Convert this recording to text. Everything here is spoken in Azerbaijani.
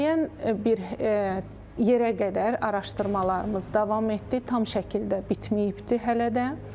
Müəyyən bir yerə qədər araşdırmamız davam etdi, tam şəkildə bitməyibdir hələ də.